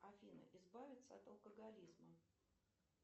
афина избавиться от алкоголизма